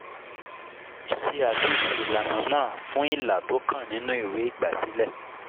Ṣé àtúnṣe ìlànà náà fún ilà tó kàn nínú ìwé ìgbàsílẹ̀.